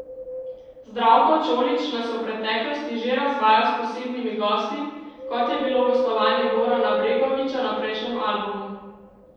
Zdravko Čolić nas je v preteklosti že razvajal s posebnimi gosti, kot je bilo gostovanje Gorana Bregovića na prejšnjem albumu.